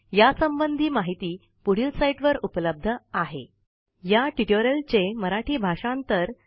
या संबंधीत माहिती spoken hyphen tutorial dot ORG slash NMEICT hyphen intro या लिंकवर उपलब्ध आहे